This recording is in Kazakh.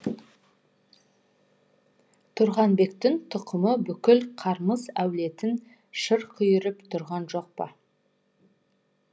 тұрғанбектің тұқымы бүкіл қармыс әулетін шырқ үйіріп тұрған жоқ па